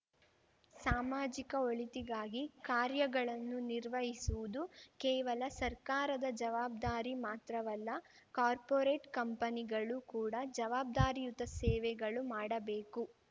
ಸಾಮಾಜಿಕ ಒಳಿತಿಗಾಗಿ ಕಾರ್ಯಗಳನ್ನು ನಿರ್ವಹಿಸುವುದು ಕೇವಲ ಸರ್ಕಾರದ ಜವಾಬ್ದಾರಿ ಮಾತ್ರವಲ್ಲ ಕಾರ್ಪೋರೇಟ್‌ ಕಂಪನಿಗಳು ಕೂಡ ಜವಾಬ್ದಾರಿಯುತ ಸೇವೆಗಳು ಮಾಡಬೇಕು